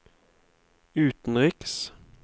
utenriks